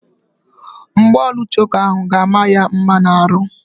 Mgbaolu choka ahụ ga-ama ya mma n'ahụ.